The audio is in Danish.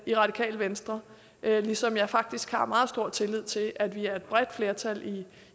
i radikale venstre ligesom jeg faktisk har meget stor tillid til at vi er et bredt flertal